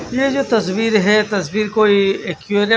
इसमें जो तस्वीर है तस्वीर कोई --